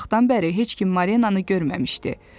Lakin həmin vaxtdan bəri heç kim Marinanı görməmişdi.